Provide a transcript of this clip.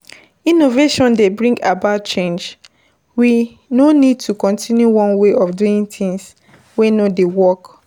innovation dey bring about change, we no need to continue one way of doing things wey no de work